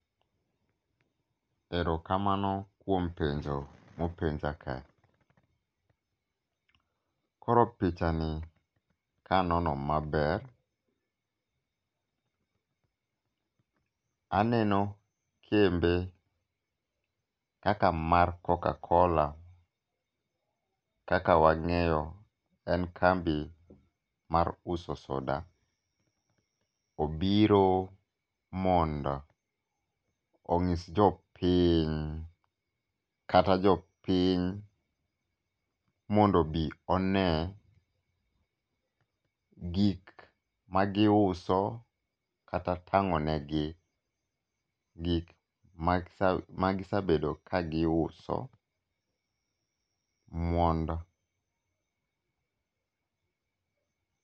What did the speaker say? Erokamano kuom penjo ,mopenja kani. Koro picha ni kanono maber, aneno kembe kaka mar coca cola kaka wang'eyo en kambi mar uso soda. Obiro mondo onyis jopiny kata jopiny mondo obi one gik magiuso katatang'onegi gik magisebedo ka giuso mondo